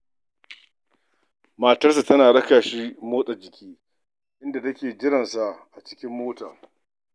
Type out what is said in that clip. Matarsa takan raka shi zuwa wajen motsa jiki, inda take jiran sa a cikin mota.